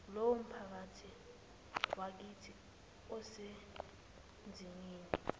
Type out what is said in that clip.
leyomiphakathi yakithi esezimeni